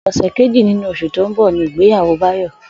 Ò̩sè̩ kejì nínú os̩ù tó ń bò̩ ní ìgbéyàwó Báyò̩